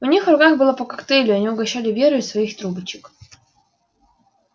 у них в руках было по коктейлю они угощали веру из своих трубочек